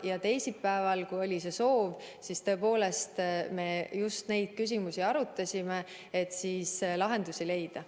Ja teisipäeval me tõepoolest just neid küsimusi arutasime, et lahendusi leida.